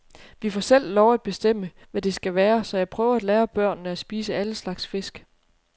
Vi får selv lov at bestemme, hvad det skal være, så jeg prøver at lære børnene at spise alle slags fisk.